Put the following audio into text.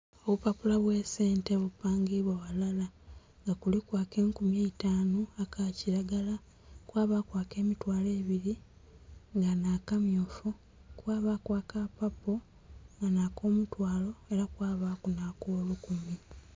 Obupapula bwe sente bipangibwa ghalala nga kuliku akenkumi eitanu aka kilagala, kwa baku ake mitwalo ebiri nga nha kamyufu kwabaku akapapo nga nha komutwalo era kwabaku nha kolukumi.